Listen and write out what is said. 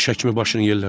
Diş həkimi başını yellədi.